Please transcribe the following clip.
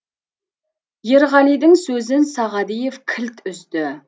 ерғалидың сөзін сағадиев кілт үзді